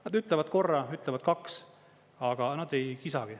Nad ütlevad korra, ütlevad kaks, aga nad ei kisagi.